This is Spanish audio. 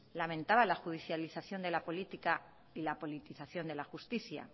lamentaba la judicialización de la política y la politización de la justicia